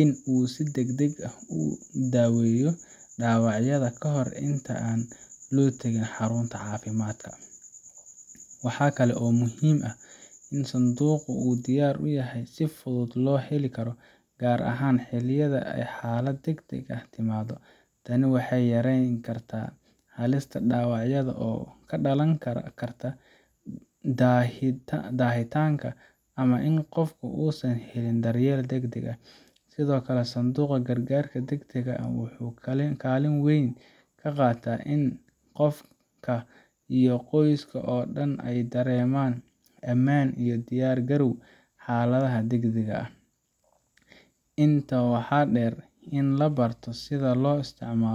in uu si degdeg ah u daweeyo dhaawacyada ka hor inta aan loo tegin xarunta caafimaadka. Waxaa kaloo muhiim ah in sanduuqu uu diyaar yahay oo si fudud loo heli karo, gaar ahaan xilliyada ay xaalad degdeg ahi timaado. Tani waxay yareyn kartaa halista dhaawacyada oo ka dhalan karta daahitaanka ama in qofka uusan helin daryeel degdeg ah. Sidoo kale, sanduuqa gargaarka degdega ah wuxuu kaalin weyn ka qaataa in qofka iyo qoyska oo dhan ay dareemaan amaan iyo diyaar garow xaaladaha degdegga ah. Intaa waxaa dheer, in la barto sida loo isticmaalo .